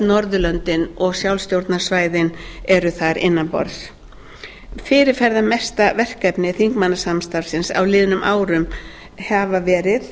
norðurlöndin og sjálfstjórnarsvæðin eru þar annan borðs fyrirferðarmestu verkefni þingmannsamstarfsins á liðnum árum hafa verið